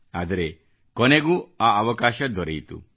ಆದರೆ ಕೊನೆಗೂ ಆ ಅವಕಾಶ ದೊರೆಯಿತು